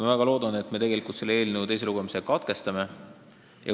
Ma väga loodan, et me selle eelnõu teise lugemise katkestame.